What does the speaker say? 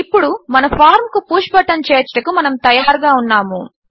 ఇప్పుడు మన ఫార్మ్ కు పుష్ బటన్ చేర్చుటకు మనము తయారుగా ఉన్నాము